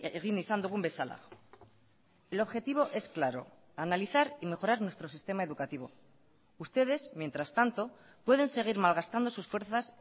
egin izan dugun bezala el objetivo es claro analizar y mejorar nuestro sistema educativo ustedes mientras tanto pueden seguir malgastando sus fuerzas